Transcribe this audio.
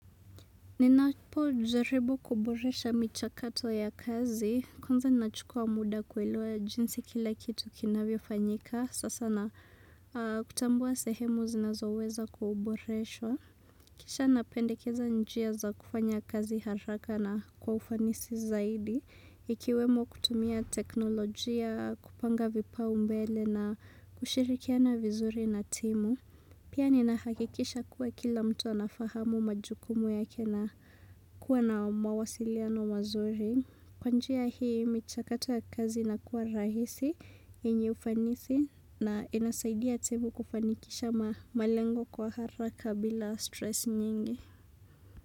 Ninapo jaribu kuboresha micha kato ya kazi, kwanza nachukua muda kuelewa jinsi kila kitu kinavyo fanyika, sasa na kutambua sehemu zinazoweza kuboreshwa. Kisha napendekeza njia za kufanya kazi haraka na kwa ufanisi zaidi, ikiwemo kutumia teknolojia, kupanga vipa umbele na kushirikia na vizuri na timu. Pia ni nahakikisha kuwa kila mtu anafahamu majukumu ya kena kuwa na mawasiliano mazuri. Kwanjia hii, michakato ya kazi ina kuwa rahisi yenye ufanisi na inasaidia timu kufanikisha malengo kwa haraka bila stress nyingi.